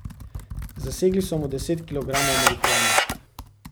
Zasegli so mu deset kilogramov marihuane.